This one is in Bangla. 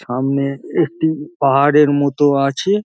সামনে একটি পাহাড়ের মতো আছে |